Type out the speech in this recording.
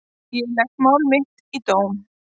Ég legg mál mitt í dóm.